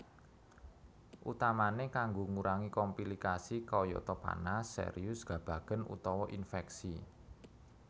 Utamane kanggo ngurangi komplikasi kayata panas serius gabagen utawa infeksi